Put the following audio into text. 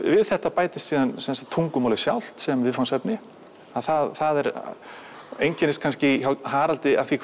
það bætist tungumálið sjálft sem viðfangsefni það einkennist hjá Haraldi af því